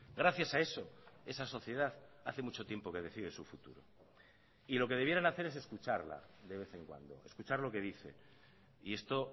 gracias a eso esa sociedad hace mucho tiempo que decide su futuro y lo que debieran hacer es escucharla de vez en cuando escuchar lo que dice y esto